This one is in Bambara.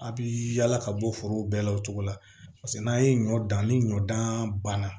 A' bɛ yaala ka bɔ forow bɛɛ la o cogo la paseke n'an ye ɲɔ dan ni ɲɔ dan banna